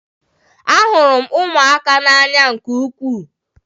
Ahụrụ m ụmụaka n'anya nke ukwuu.